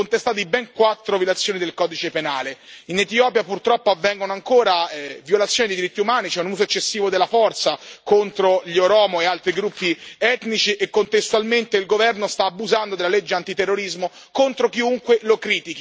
In Etiopia, purtroppo, avvengono ancora violazioni dei diritti umani, c'è un uso eccessivo della forza contro gli oromo e altri gruppi etnici e, contestualmente, il governo sta abusando della legge antiterrorismo contro chiunque lo critichi, attaccando giornalisti, blogger e manifestanti.